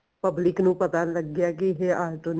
public ਨੂੰ ਪਤਾ ਲੱਗਿਆ ਕੀ ਜੇ ਆਟੋ